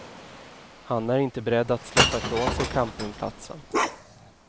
Han är inte beredd att släppa ifrån sig campingplatsen.